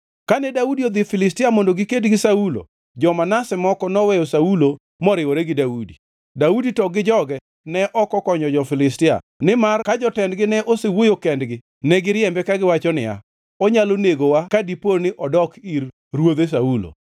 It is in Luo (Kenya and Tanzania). Kane Daudi odhi Filistia mondo giked gi Saulo, jo-Manase moko noweyo Saulo moriwore gi Daudi. Daudi to gi joge ne ok okonyo jo-Filistia nimar ka jotendgi ne osewuoyo kendgi negiriembe kagiwacho niya, “Onyalo negowa ka dipo ni odok ir ruodhe Saulo.”